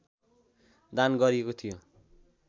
दान गरिएको थियो